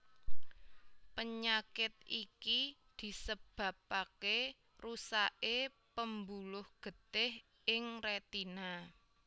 Penyakit iki disebabaké rusaké pembuluh getih ing rétina